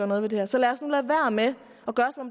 noget ved det her så lad os nu lade være med at